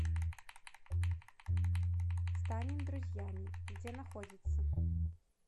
станем друзьями где находится